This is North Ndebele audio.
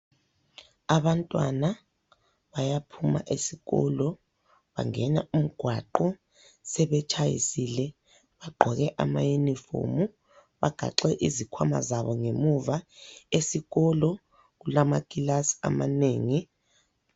Abantwana bayaphuma esikolo bangena umgwaqo sebetshayisile bagqoke amayunifomu bagaxe izikhwama zabo ngemuva. Esikolo kulamakilasi amanengi.